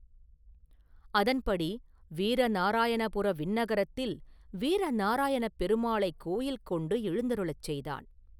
அதன்படி வீரநாராயணபுர விண்ணகரத்தில் வீரநாராயணப் பெருமாளைக் கோயில் கொண்டு எழுந்தருளச் செய்தான்.